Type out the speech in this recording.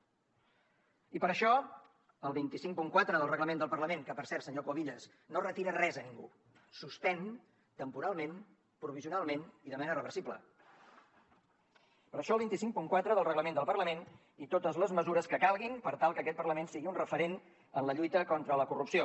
i per això el dos cents i cinquanta quatre del reglament del parlament que per cert senyor cuevillas no retira res a ningú suspèn temporalment provisionalment i de manera reversible i totes les mesures que calguin per tal que aquest parlament sigui un referent en la lluita contra la corrupció